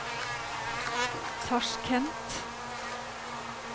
Tasjkent